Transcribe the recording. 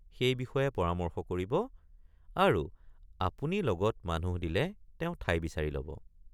সেই বিষয়ে পৰামৰ্শ কৰিব আৰু আপুনি লগত মানুহ দিলে তেওঁ ঠাই বিচাৰি লব।